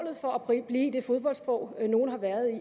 blive i det fodboldsprog nogle har været i